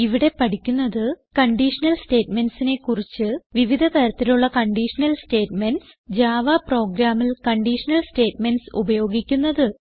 ഇവിടെ പഠിക്കുന്നത് കണ്ടീഷണൽ statementsനെ കുറിച്ച് വിവിധ തരത്തിലുള്ള കണ്ടീഷണൽ സ്റ്റേറ്റ്മെന്റ്സ് ജാവ പ്രോഗ്രാമിൽ കണ്ടീഷണൽ സ്റ്റേറ്റ്മെന്റ്സ് ഉപയോഗിക്കുന്നത്